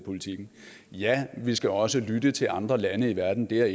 ja vi skal også lytte til andre lande i verden det er